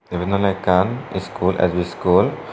yiban oley ekkan school ads school.